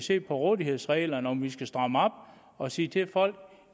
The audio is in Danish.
se på rådighedsreglerne om vi skal stramme op og sige til folk